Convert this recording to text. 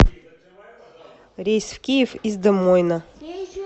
рейс в киев из де мойна